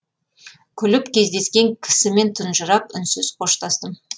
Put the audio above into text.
күліп кездескен кісімен тұнжырап үнсіз қоштастым